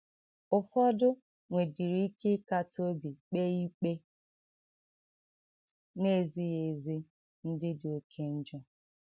Ụfọdụ nwedịrị ike ịkata obi kpee ikpe na - ezighị ezi ndị dị oké njọ.